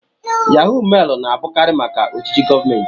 Yahó mailu na-abụkarị maka ojiji gọọmentị